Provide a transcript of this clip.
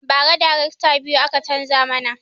Ba ra darekta biyu aka canza mana